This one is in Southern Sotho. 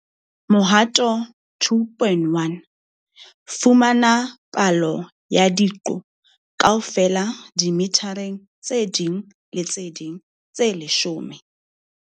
Mohato 2.1- Fumana palo ya diqo kaofela dimethareng tse ding le tse ding tse leshome.